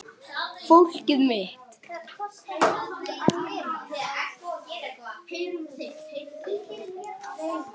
Fólkið mitt.